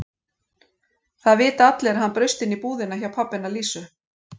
Það vita allir að hann braust inn í búðina hjá pabba hennar Lísu.